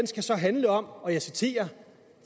skal så handle om og jeg citerer